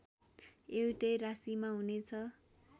एउटै राशीमा हुनेछ